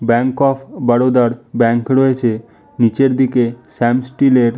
Bank of Baroda -এর bank রয়েছে। নিচের দিকে শ্যাম স্টিল এর--